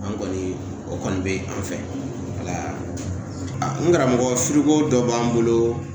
An kɔni o kɔni be an fɛla n karamɔgɔ feereko dɔ b'an bolo